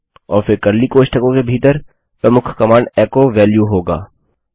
और फिर कर्ली कोष्ठकों के भीतर प्रमुख कमांड एचो valueएको वेल्यूहोगा